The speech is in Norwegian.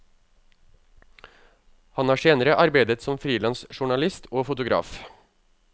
Han har senere arbeidet som frilans journalist og fotograf.